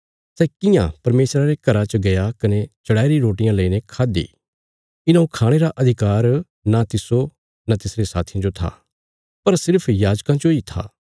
सै कियां परमेशरा रे घरा च गया कने चढ़ाईरी रोटियां लेईने खाद्दि इन्हौं खाणे रा अधिकार न तिस्सो न तिसरे साथियां जो था पर सिर्फ याजकां जोई था